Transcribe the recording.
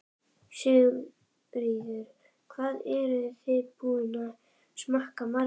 Sigríður: Hvað eruð þið búin að smakka marga?